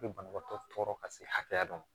Bɛ banabaatɔ tɔɔrɔ ka se hakɛya dɔ ma